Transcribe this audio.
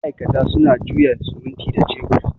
ma'aikata suna jiya simuti da shebur